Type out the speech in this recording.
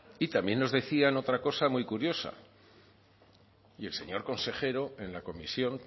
y también nos decían otra cosa muy curiosa y el señor consejero en la comisión